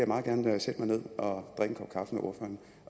meget gerne sætte mig ned